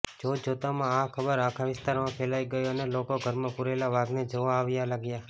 જોતજોતમાં આ ખબર આખા વિસ્તારમાં ફેલાઈ ગઈ અને લોકો ઘરમાં પૂરેલા વાઘને જોવા આવવા લાગ્યા